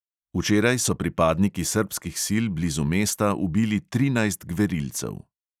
Včeraj so pripadniki srbskih sil blizu mesta ubili trinajst gverilcev.